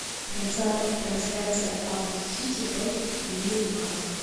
трансляция апл сити против ньюкасла